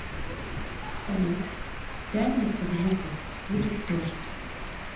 салют в пятницу в жуков будет дождь